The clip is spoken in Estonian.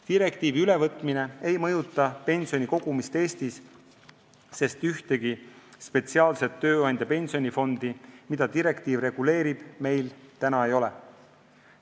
Direktiivi ülevõtmine ei mõjuta pensionikogumist Eestis, sest ühtegi spetsiaalset tööandja pensionifondi, mida direktiiv reguleerib, meil ei ole.